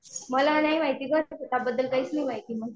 मला नाही माहिती गं शेताबद्दल काहीच नाही माहिती.